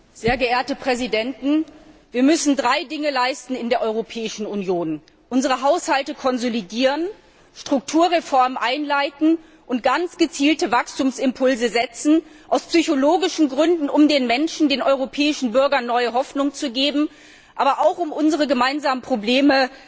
Herr Präsident, sehr geehrte Präsidenten! Wir müssen drei Dinge leisten in der Europäischen Union unsere Haushalte konsolidieren, Strukturreformen einleiten und ganz gezielte Wachstumsimpulse setzen aus psychologischen Gründen, um den Menschen, den europäischen Bürgern, neue Hoffnung zu geben, aber auch, um unsere gemeinsamen Probleme